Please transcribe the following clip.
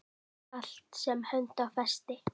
Allt sem hönd á festi.